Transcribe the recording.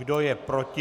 Kdo je proti?